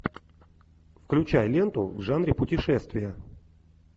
включай ленту в жанре путешествия